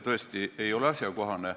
See ei ole tõesti asjakohane.